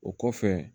O kɔfɛ